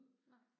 Nej